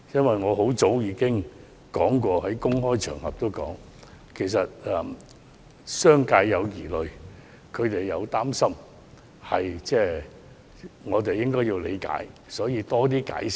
其實，很早以前，我已在公開場合指出商界有疑慮和擔心，我們要理解，也要多加解釋。